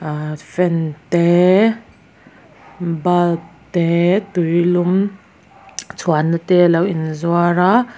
ahh fan te bulb te tui lum chhuan na te alo in zuar a.